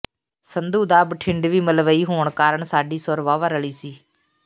ਸੰਧੂ ਦਾ ਬਠਿੰਡਵੀ ਮਲਵਈ ਹੋਣ ਕਾਰਨ ਸਾਡੀ ਸੁਰ ਵਾਹਵਾ ਰਲੀ ਸੀ